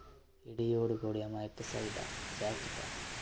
ഇടിയോടു കൂടിയ മഴയ്ക്ക്‌ സാധ്യത.